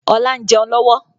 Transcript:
Ọlá ń jẹun lọ́wọ́